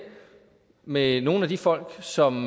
med nogle af de folk som